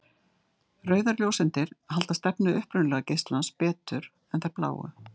Rauðar ljóseindir halda stefnu upprunalega geislans betur en þær bláu.